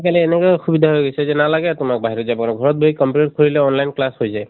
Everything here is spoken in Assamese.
কালি এনকা সুবিধা হৈ গৈছে যে নালাগে তোমাক বাহিৰত যাবলৈ। ঘৰত বহি computer খুলিলে online class হৈ যায়।